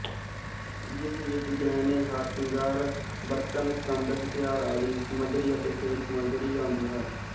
ਜਿਸ ਵਿੱਚ ਗਹਿਣੇਹਾਰਸ਼ਿੰਗਾਰਬਰਤਨਸੰਦਹਥਿਆਰਆਦਿ ਸਮੱਗਰੀ ਅਤੇ ਖੇਡ ਸਮੱਗਰੀ ਆਉਂਦੀ ਹੈ